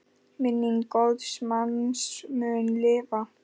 Minning góðs manns mun lifa.